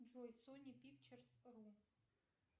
джой сони пикчерс ру